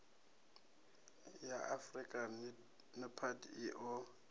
ya afurika nepad i o